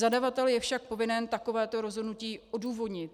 Zadavatel je však povinen takovéto rozhodnutí odůvodnit.